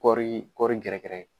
Kɔɔri kɔɔri gɛrɛ gɛrɛ.